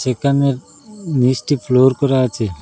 এখানের নীচটি ফ্লোর করা আছে।